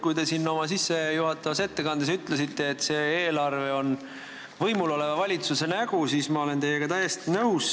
Kui te siin oma sissejuhatavas ettekandes ütlesite, et see eelarve on võimul oleva valitsuse nägu, siis ma olen teiega täiesti nõus.